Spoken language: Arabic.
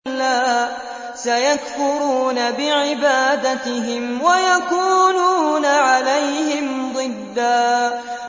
كَلَّا ۚ سَيَكْفُرُونَ بِعِبَادَتِهِمْ وَيَكُونُونَ عَلَيْهِمْ ضِدًّا